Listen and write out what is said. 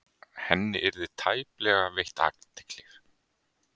Henni yrði tæplega veitt athygli.